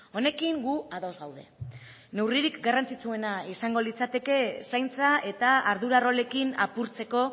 honekin gu ados gaude neurririk garrantzitsuena izango litzateke zaintza eta ardura rolekin apurtzeko